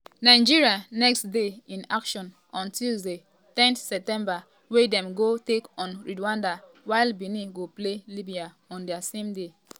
nigeria next dey in action on tuesday ten september wia dem go take on rwanda while benin go play libya on di same day.